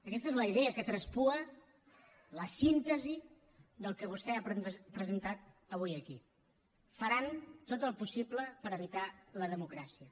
aquesta és la idea que traspua la síntesi del que vostè ha presentat avui aquí faran tot el possible per evitar la democràcia